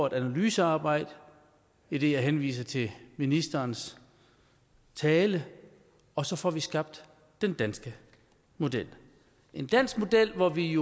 et analysearbejde idet jeg henviser til ministerens tale og så får vi skabt den danske model en dansk model hvor vi